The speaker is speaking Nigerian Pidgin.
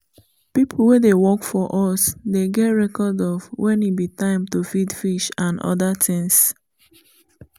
people wey dey work for us dey get record of when e be time to feed fish and other things